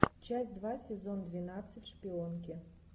часть два сезон двенадцать шпионки